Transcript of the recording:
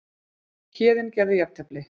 Héðinn gerði jafntefli